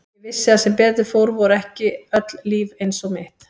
Ég vissi að sem betur fór voru ekki öll líf eins og mitt.